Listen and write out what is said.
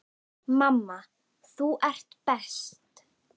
Mamma, þú ert best.